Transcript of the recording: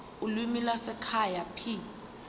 ulimi lwasekhaya p